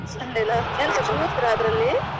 ಸೊಂಡಿಲ ಎಂತ ಕುತ್ರ ಅದ್ರಲ್ಲಿ .